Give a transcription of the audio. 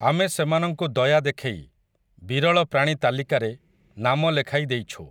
ଆମେ ସେମାନଙ୍କୁ ଦୟା ଦେଖେଇ, ବିରଳ ପ୍ରାଣୀ ତାଲିକାରେ, ନାମ ଲେଖାଇ ଦେଇଛୁ ।